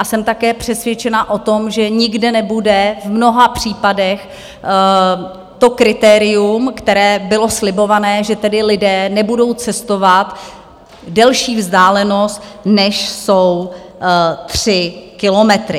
A jsem také přesvědčená o tom, že nikde nebude v mnoha případech to kritérium, které bylo slibované, že tedy lidé nebudou cestovat delší vzdálenost, než jsou tři kilometry.